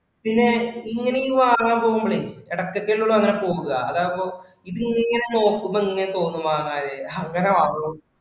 പിന്നെ ഇങ്ങനെ ഈ വാങ്ങാൻ പോകുമ്പോഴേ ഇടയ്ക്കൊക്കെഅല്ലെ ഉള്ളു അങ്ങനെ പോകുക. അതാകുമ്പോ പിന്നിങ്ങനെ നോക്കുമ്പോ ഇങ്ങനെ തോന്നും വാങ്ങാനായിട്ടു അങ്ങനെ വാങ്ങും